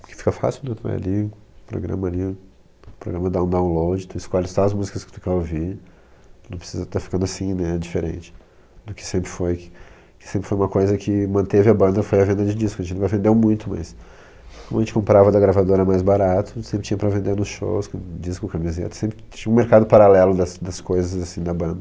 Porque fica fácil, tu vai ali, programa ali, o programa dá um download, tu escolhe todas as músicas que tu quer ouvir, tu não precisa estar ficando assim, né, diferente do que sempre foi, que sempre foi uma coisa que manteve a banda foi a venda de disco, a gente nunca vendeu muito, mas como a gente comprava da gravadora mais barato, sempre tinha pra vender nos shows, disco, camiseta, sempre tinha um mercado paralelo das coisas, assim, da banda.